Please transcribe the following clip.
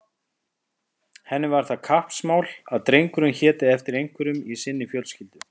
Henni var það kappsmál að drengurinn héti eftir einhverjum í sinni fjölskyldu.